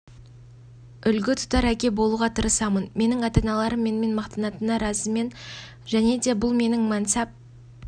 үлгі тұтар әке болуға тырысамын менің ата-аналарым менімен мақтанатынына разымен және де бұл менің мәнсап